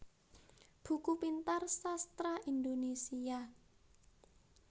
Buku Pintar Sastra Indonesia